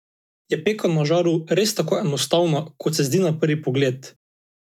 Je peka na žaru res tako enostavna kot se zdi na prvi pogled?